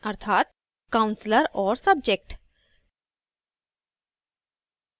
अर्थात counselor और subject